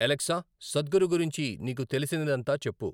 Alexa Sadhguru గురించి నీకు తెలిసినదంతా చెప్పు